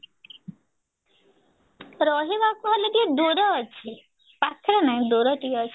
ରହିବାକୁ ହେଲେ ଟିକେ ଦୂର ଅଛି ପାଖରେ ନାହିଁ ଦୂର ଟିକେ ଅଛି